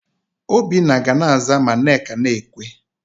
Obinna ga na-aza ma Nneka na-ekwe.